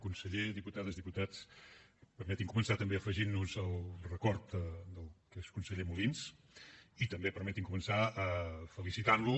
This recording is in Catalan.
conseller diputades diputats permetin me començar també afegint nos al record de l’exconseller molins i també permeti’m començar felicitant lo